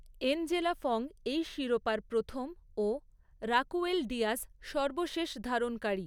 Angela Fong এই শিরোপার প্রথম ও রাকুয়েল ডিয়াজ সর্বশেষ ধারণকারী।